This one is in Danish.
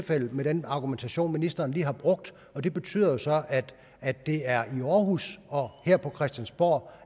den argumentation ministeren lige har brugt og det betyder så at det er i aarhus og her på christiansborg